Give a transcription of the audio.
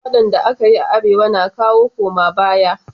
faɗan da akeyi a arewa na kawo koma baya